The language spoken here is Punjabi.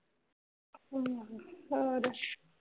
ਆਹੋ ਹੋਰ?